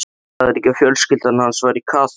Sagðirðu ekki að fjölskyldan hans væri kaþólsk?